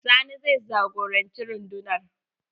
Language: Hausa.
Sani zai jagoranci rundunar.